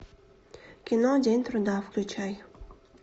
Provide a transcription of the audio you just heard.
кино день труда включай